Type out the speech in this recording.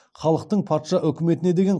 халықтың патша өкіметіне деген